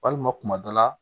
Walima kuma dɔ la